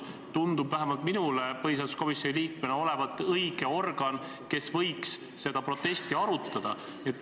Vähemalt minule kui põhiseaduskomisjoni liikmele tundub Riigikogu juhatus olevat õige organ, kes võiks seda protesti arutada.